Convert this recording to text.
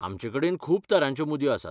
आमचेकडेन खूब तरांच्यो मुदयो आसात.